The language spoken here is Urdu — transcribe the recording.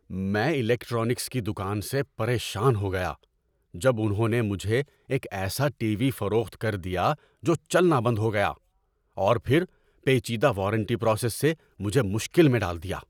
میں الیکٹرانکس کی دکان سے پریشان ہو گیا جب انہوں نے مجھے ایک ایسا ٹی وی فروخت کر دیا جو چلنا بند ہو گیا، اور پھر پیچیدہ وارنٹی پراسس سے مجھے مشکل میں ڈال دیا۔